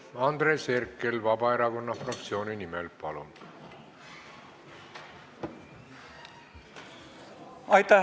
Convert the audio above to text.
Andres Herkel Vabaerakonna fraktsiooni nimel, palun!